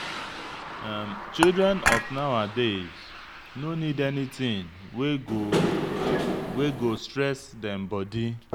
Children of nawadays no need anything wey go wey go stress them body.